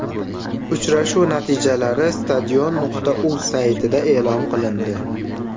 Uchrashuv natijalari Stadion.uz saytida e’lon qilindi .